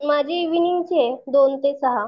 माझी इव्हीनिंगचीये दोन ते सहा.